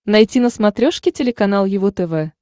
найти на смотрешке телеканал его тв